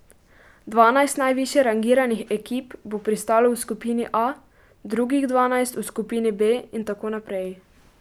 Dvanajst najvišje rangiranih ekip bo pristalo v skupini A, drugih dvanajst v skupini B in tako naprej.